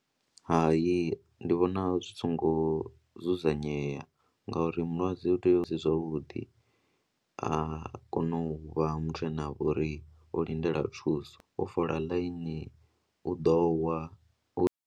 Hai, ndi vhona zwi songo dzudzanyea ngauri mulwadze u tea u dzula zwavhuḓi a kona u vha muthu ane a vha uri o lindela thuso, u fola ḽaini u ḓo wa.